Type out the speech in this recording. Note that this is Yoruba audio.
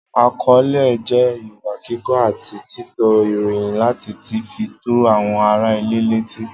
Akọọlẹ jẹ ìwà kíkọ àti tító ìròyìn lati tí fi tó àwọn ará ilé leti.